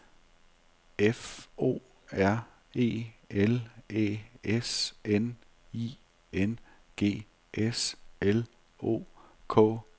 F O R E L Æ S N I N G S L O K A L E R